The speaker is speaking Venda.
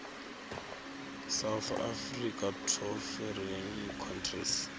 south africa to foreign countries